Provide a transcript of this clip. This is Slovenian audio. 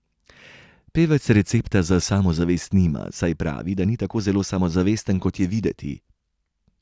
Pevec recepta za samozavest nima, saj pravi, da ni tako zelo samozavesten, kot je videti.